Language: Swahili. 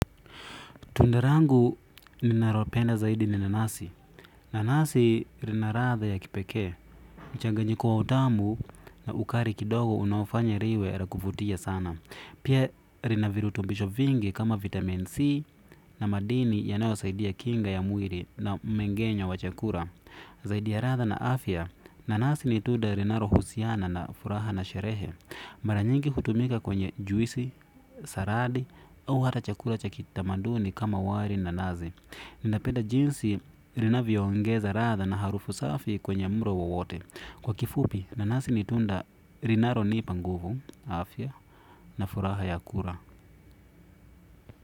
Tunda langu ninalopenda zaidi ni nanasi. Nanasi rina radha ya kipekee. Mchanganyiko wa utamu na ukari kidogo unaofanya riwe ra kuvutia sana pia rina virutumbisho vingi kama vitamin C na madini yanayosaidia kinga ya mwili na mmeng'enyo wa chakula. Zaidi ya radha na afya. Nanasi ni tuda rinarohusiana na furaha na sherehe. Mara nyingi hutumika kwenye juisi, saradi, au hata chakula cha kitamaduni kama wari na nazi ninapenda jinsi rinavyoongeza radha na harufu safi kwenye mro wowote. Kwa kifupi nanasi ni tunda rinaronipa nguvu, afya, na furaha ya kura.